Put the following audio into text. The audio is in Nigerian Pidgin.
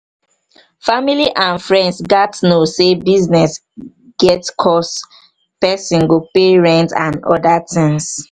family and friends gat know sey business get cost person go pay rent and oda things